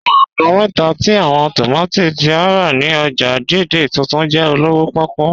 Awọn àgbọn mẹ́ta tí awọn tómátí tí a rá ni ọ́jà Dei-Dei Tuntun jẹ olówò pòkú